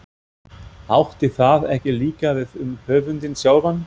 Átti það ekki líka við um höfundinn sjálfan?